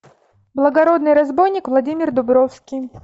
благородный разбойник владимир дубровский